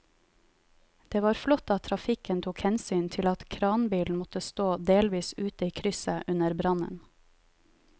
Det var flott at trafikken tok hensyn til at kranbilen måtte stå delvis ute i krysset under brannen.